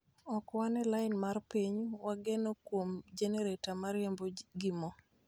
Ok wan e lain mar piny, wageno kuom jenereta ma riembo gi moo,